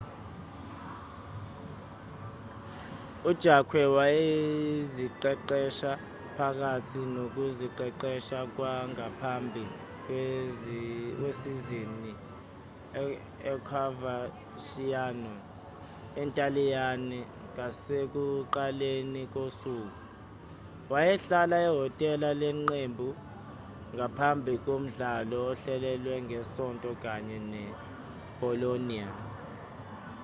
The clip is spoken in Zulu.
u-jarque wayeziqeqesha phakathi nokuziqeqesha kwangaphambi kwesizini e-coverciano entaliyane ngasekuqaleni kosuku wayehlala ehhotela leqembu ngaphambi komdlalo ohlelelwe ngesonto kanye ne-bolonia